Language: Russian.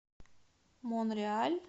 монреаль